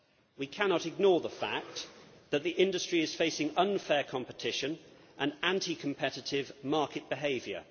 We cannot ignore the fact that the industry is facing unfair competition and anti competitive market behaviour.